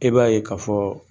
E b'a ye ka fɔ